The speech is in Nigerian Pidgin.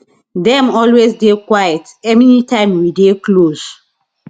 dem always dey quiet anytime we dey close